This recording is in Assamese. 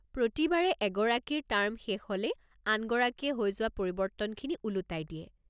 প্ৰতিবাৰে এগৰাকীৰ টাৰ্ম শেষ হ'লেই আনগৰাকীয়ে হৈ যোৱা পৰিৱৰ্তনখিনি ওলোটাই দিয়ে।